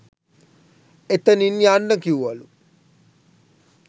එතනින් යන්න කිව්වලු